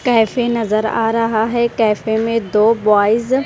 cafe नजर आ रहा है कैफे में दो बॉयज --